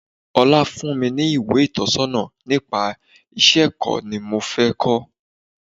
21. Ọlá fún mi ní ìwé ìtọ̀sọ́nà nípa iṣẹ́ ẹ̀kọ́ ni mo fé ko.